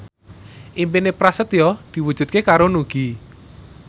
impine Prasetyo diwujudke karo Nugie